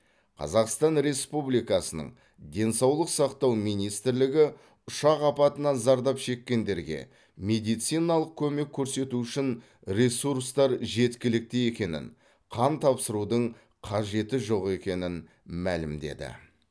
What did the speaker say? қазақстан республикасының денсаулық сақтау министрлігі ұшақ апатынан зардап шеккендерге медициналық көмек көрсету үшін ресурстар жеткілікті екенін қан тапсырудың қажеті жоқ екенін мәлімдеді